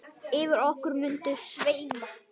Yfir okkur muntu sveima.